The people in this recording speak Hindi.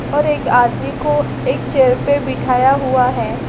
और एक आदमी को एक चेयर पे बिठाया हुआ है।